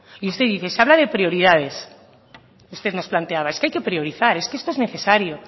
y usted dice se habla de prioridades usted nos planteaba es que hay priorizar es que esto es necesario